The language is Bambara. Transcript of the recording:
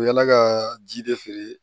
U bɛ yaala ka ji de feere